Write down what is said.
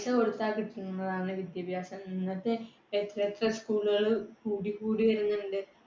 പൈസ കൊടുക്കാതെ കിട്ടുന്നതാണ് വിദ്യാഭ്യാസം. ഇന്നത്തെ school കൾ കൂടിക്കൂടി വരുന്നുണ്ട്.